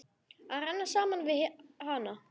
Að renna saman við hana.